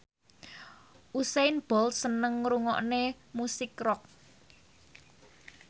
Usain Bolt seneng ngrungokne musik rock